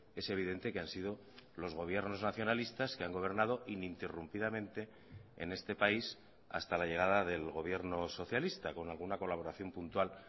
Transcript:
es evidente que han sido los gobiernos nacionalistas que han gobernado ininterrumpidamente en este país hasta la llegada del gobierno socialista con alguna colaboración puntual